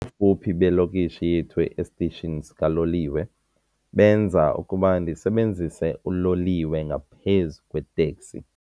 Ubufuphi belokishi yethu esitishini sikaloliwe benza ukuba ndisebenzise uloliwe ngaphezu kweeteksi.